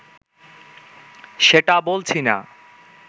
সেটা বলছি না